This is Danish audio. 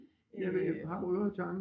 Ja ved Harboøre Tange